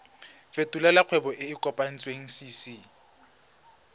fetolela kgwebo e e kopetswengcc